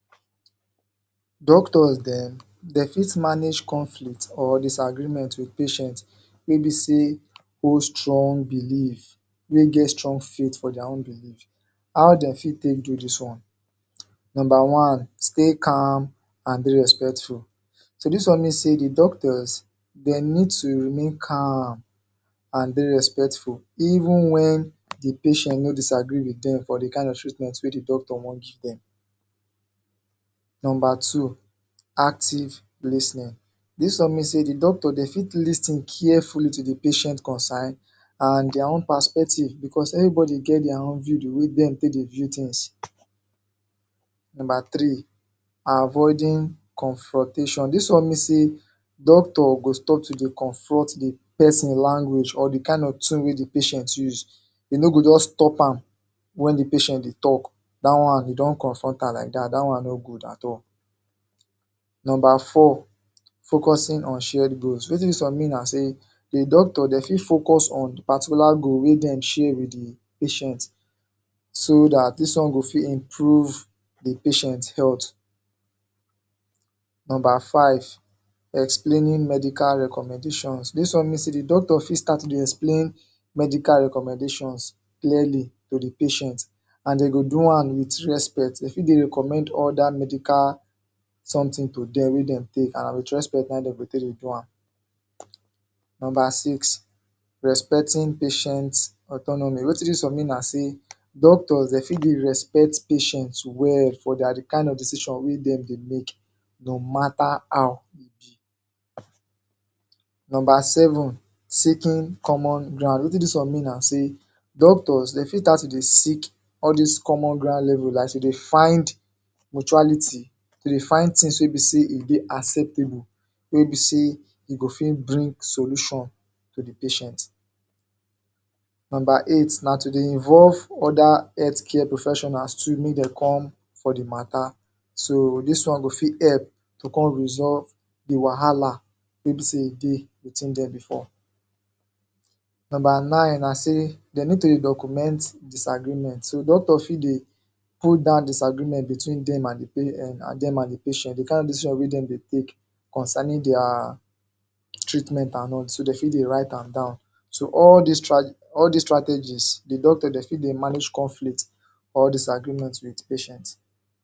Doctors dem, dey fit manage conflict or disagreement wit patient wey be say hold strong belief wey get strong faith for their own belief. How dem fit take do dis own? Number one, stay calm and dey respectful. So this one mean say the doctors, dey need to remain calm and be respectful even when the patient no disagree wit dem for the kain of treatment wey the doctor wan give dem. Number two, active lis ten ing this one mean say, doctor dey fit lis ten carefully to the patient concern and their own perspective because everybody get their own view the way dem take dey view things. Number three, avoiding confrontation, this one mean say doctor go stop to dey confront the person language or the kain of tone wey the patient use. E no go just stop am wen the patient dey talk. Dat one, dey don't confront am like dat, dat one no good at all. Number four, focusing on shared goals. Wetin dis one mean na say, the doctor, dey fit focus on the particular goal wey dem share wit the patient so dat dis one go fit improve the patient health. Numbmer five, explaining medical recommendations. This one mean say the doctors fit start to dey explain medical recommendations clearly to the patient and dey go do am wit respect dey fit dey recommend other medical something to dem wey dem take and wit respect na im dem go take dey do am. Number six, respecting patients' autonomy. Wetin dis one mean na say, doctors dey fit give respect patient well for their the kain of decision wey dem dey make no matter how Number seven, seeking common ground. Wetin dis one mean na say, doctors dey fit start to dey seek all dis common ground level like to dey find mutuality, to dey find things wey be say e dey acceptable, wey be say e go fit bring solution to the patient. Number eight,, na to dey involve other health care professionals too make dem come for the matter. So dis one go fit help to come resolve the wahala wey be say e dey between dem before. Number nine na say, dey need to dey document disagreement. So doctor fit dey hold down disagreement between dem and um dem and the patient, the kain decision wey dem dey take concerning their treatment and all, so dem fit dey write am down. So all these stra… all these strategies, the doctor dey fit dey manage conflict or disagreement wit patient.